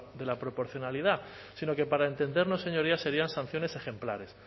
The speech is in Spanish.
de la proporcionalidad sino que para entendernos señorías serían sanciones ejemplares